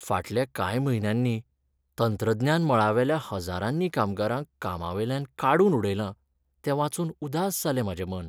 फाटल्या कांय म्हयन्यांनी तंत्रज्ञान मळावेल्या हज्जारांनी कामगारांक कामावेल्यान काडून उडयलां तें वाचून उदास जालें म्हाजें मन.